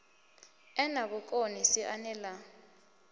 e na vhukoni siani ḽa